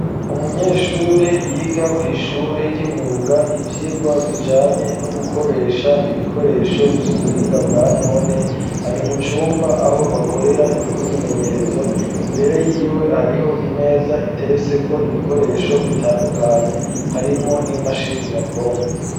umunyeshure yiga kw'ishure ry'imyuga ivyigwa bijanye no gukoresha ibikoresho vy'ubuhinga bwa none ari mucumba aho bakorera imyimenyerezo, imbere y'iwe hariho imeza iteretseko ibikoresho bitandukanye harimwo n'imashini nyabwongo.